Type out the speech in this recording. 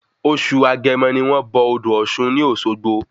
Oṣù agẹmọ ni wón bọ odò Òsun ní Òsogbo